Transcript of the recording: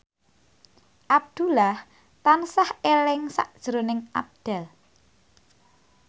Abdullah tansah eling sakjroning Abdel